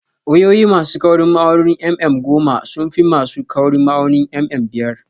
Wayoyi ma su kaurin ma'aunin mm goma sun fi ma su kaurin ma'aunin mm biyar